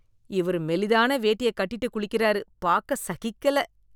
இவர் மெலிதான வேட்டிய கட்டிட்டு குளிக்கறாரு, பாக்க சகிக்கல.